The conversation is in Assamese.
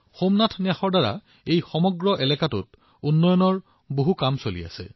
সোমনাথ ন্যাসে সেই গোটেই অঞ্চলটোত বহুতো উন্নয়নমূলক কাম কৰি আছে